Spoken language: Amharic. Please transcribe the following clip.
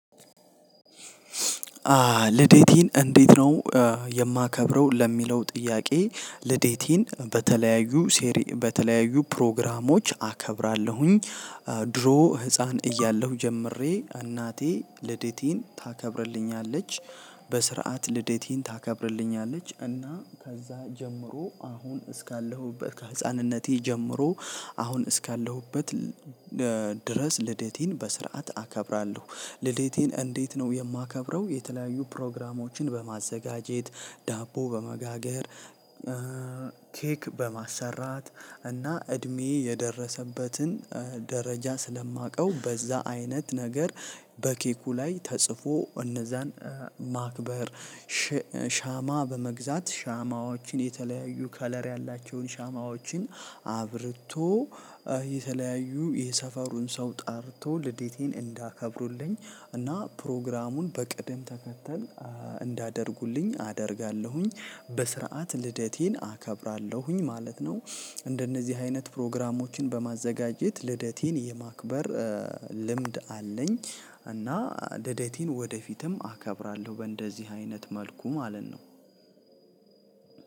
ልደቴን እንዴት ነው እ የማከብረው ለሚለው ጥያቄ ልደቴን በተለያዩ ሴሪ በተለያዩ ፕሮግራሞች አከብራለሁኝ። እ ድሮ ህፃን እያለሁ ጀምሬ እናቴ ልደቴን ታከብርልኛለች። በስርዓት ልደቴን ታከብርልኛለች እና ከዛ ጀምሮ አሁን እስካለሁበት ከህፃንነቴ ጀምሮ አሁን እስካለሁበት እ ድረስ ልደቴን በስርዓት አከብራለሁ ልደቴን እንዴት ነው የማከብረው የተለያዩ ፕሮግራሞችን በማዘጋጀት ዳቦ በመጋገር እ ኬክ በማሰራት እና እድሜ የደረሰበትን ደረጃ ስለማውቀው በዛ አይነት ነገር በኬኩ ላይ ተጽፎ እነዛን እ ማክበር ሸ ሻማ በመግዛት ሻማዎችን የተለያዩ ከለር ያላቸውን ሻማዎችን አብርቶ እ የተለያዩ የሰፈሩን ሰው ጠርቶ ልደቴን እንዲያከብሩልኝ እና ፕሮግራሙን በቅደም ተከተል እንዲያደርጉልኝ አደርጋለሁኝ። በስርዓት ልደቴን አከብራለሁኝ ማለት ነው እንደነዚህ አይነት ፕሮግራሞችን በማዘጋጀት ልደቴን የማክበር ልምድ አለኝ። እና ልደቴን ወደፊትም አከብራለሁ በእንደዚህ አይነት መልኩ ማለት ነው።